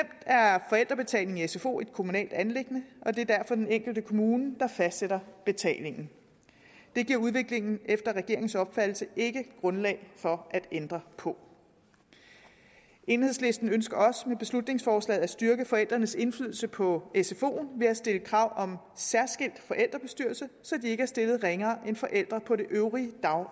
forældrebetalingen i sfo et kommunalt anliggende og det er derfor den enkelte kommune der fastsætter betalingen det giver udviklingen efter regeringens opfattelse ikke grundlag for at ændre på enhedslisten ønsker også med beslutningsforslaget at styrke forældrenes indflydelse på sfoen ved at stille krav om særskilt forældrebestyrelse så de ikke er stillet ringere end forældre på det øvrige